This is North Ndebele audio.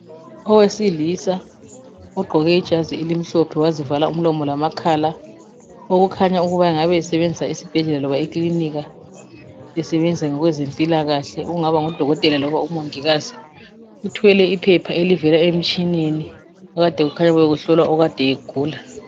Owesilisa ogqoke ijazi elimhlophe wazivala umlomo lamakhala okukhanya ukuba engabe esebenza esibhedlela loba ekilinika asebenza ngokwezempilakahle okungaba ngudokotela loba umongikazi uthwele iphepha elivela emtshineni ekade kukhanya bekuhlolwa okade egula.